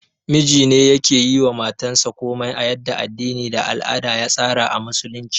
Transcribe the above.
Mijine yake yiwa matayansa komai a yadda addini da al'ada ya tsara a Musulunci